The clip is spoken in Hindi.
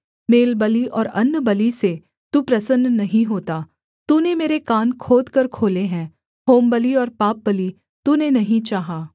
मेलबलि और अन्नबलि से तू प्रसन्न नहीं होता तूने मेरे कान खोदकर खोले हैं होमबलि और पापबलि तूने नहीं चाहा